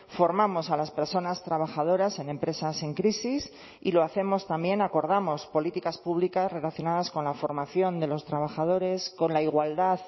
formamos a las personas trabajadoras en empresas en crisis y lo hacemos también acordamos políticas públicas relacionadas con la formación de los trabajadores con la igualdad